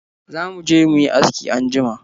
Za mu je mu yi aski anjima.